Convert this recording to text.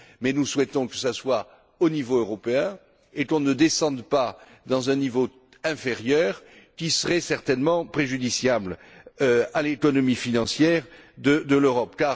Nous souhaitons qu'elle soit adoptée au niveau européen et qu'on ne descende pas à un niveau inférieur, car ce serait certainement préjudiciable à l'économie financière de l'Europe.